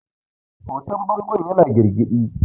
hoton bangon yana girgidi